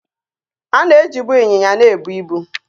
A na ejibụ ịnyịnya na-ebụ ịbu